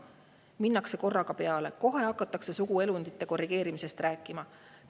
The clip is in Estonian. Minnakse korraga peale: kohe hakatakse suguelundite korrigeerimisest rääkima.